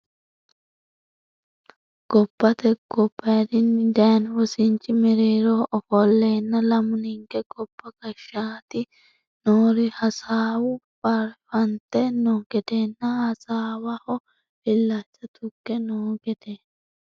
Gobbate gobbadini dayino wosinchi mereeroho ofolenna lamu ninke gobba gashshite noori hasaawu bare fante no gedenna hasaawaho illacha tuge no gede.